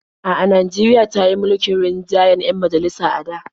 A'a, Najeriya ta yi mulkin rinjayen 'yan majalisa a da.